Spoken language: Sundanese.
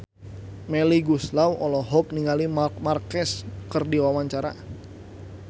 Melly Goeslaw olohok ningali Marc Marquez keur diwawancara